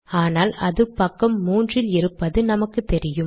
ஆனால் அது பக்கம் 3 இல் இருப்பது நமக்குத்தெரியும்